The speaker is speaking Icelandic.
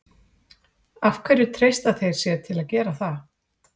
Af hverju treysta þeir sér til að gera það?